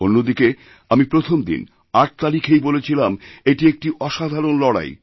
অন্যদিকে আমিপ্রথম দিন ৮ তারিখেই বলেছিলাম এটি একটি অসাধারণ লড়াই